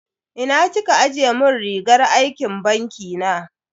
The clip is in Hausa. Ina kika ajiye mun rigar aikin banki na?